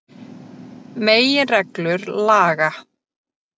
Meginreglur laga.